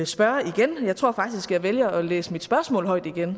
spørge igen jeg tror faktisk jeg vælger at læse spørgsmålet højt igen